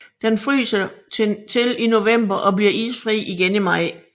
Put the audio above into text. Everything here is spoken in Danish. Den fryser til i november og bliver isfri igen i maj